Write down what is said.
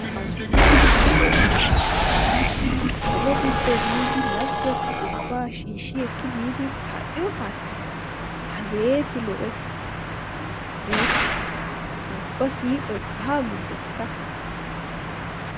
Xoosso Xoosso! kolo giddo biidi laggeta ubba shiishshi ekki biidi kaa'iyo kaassay abeeti lo''es abeeti! ubba siqoy haa gujjesikka.